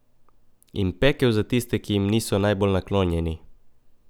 In pekel za tiste, ki jim niso najbolj naklonjeni ...